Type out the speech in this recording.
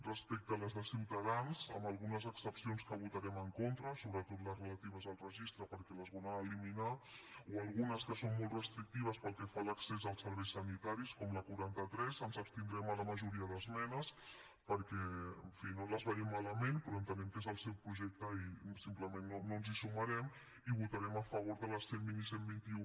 respecte a les de ciutadans amb algunes excepcions que votarem en contra sobretot les relatives al registre perquè les volen eliminar o algunes que són molt restrictives pel que fa l’accés als serveis sanitaris com la quaranta tres ens abstindrem a la majoria d’esmenes perquè en fi no les veiem malament però entenem que és el seu projecte i simplement no ens hi sumarem i votarem a favor de les cent i vint i cent i vint un